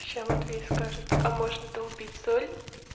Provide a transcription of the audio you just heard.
сейчас матвей скажет а можно долбить соль